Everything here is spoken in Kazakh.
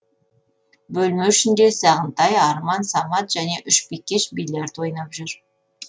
бөлме ішінде сағынтай арман самат және үш бикеш бильярд ойнап жүр